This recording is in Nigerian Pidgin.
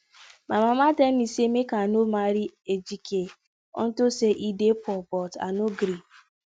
my mama tell me say make i no marry ejike unto say he dey poor but i no gree